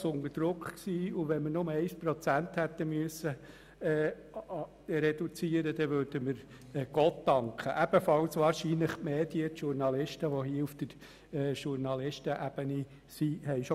Entschuldigt abwesend sind: Aeschlimann Martin, Berger Stefan, Geissbühler-Strupler Sabina, Klopfenstein Hubert, Kohli Vania, Müller Mathias, Ruchonnet Michel, Veglio Mirjam, von Känel Christian, Wildhaber Daniel, Vogt Hans-Rudolf.